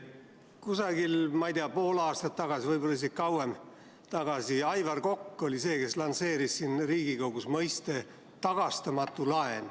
Kusagil pool aastat tagasi, võib-olla isegi kauem, oli Aivar Kokk see, kes lansseeris Riigikogus mõiste "tagastamatu laen".